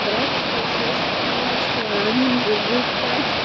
братья сёстры младшие а они уже бухают